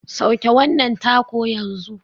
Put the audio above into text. Sauke wannan taco yanzu.